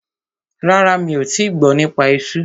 Rárá, mi ò tíì gbọ́ nípa esú.